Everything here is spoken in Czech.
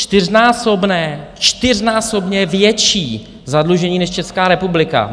- čtyřnásobné, čtyřnásobně větší zadlužení než Česká republika.